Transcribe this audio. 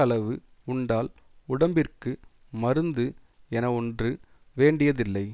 அளவு உண்டால் உடம்பிற்கு மருந்து என ஒன்று வேண்டியதில்லை